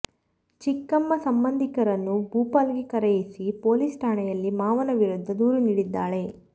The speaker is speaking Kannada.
ಚಿಕ್ಕಮ್ಮ ಸಂಬಂಧಿಕರನ್ನು ಭೂಪಾಲ್ ಗೆ ಕರೆಯಿಸಿ ಪೊಲೀಸ್ ಠಾಣೆಯಲ್ಲಿ ಮಾವನ ವಿರುದ್ಧ ದೂರು ನೀಡಿದ್ದಾಳೆ